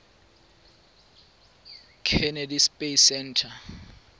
kennedy space center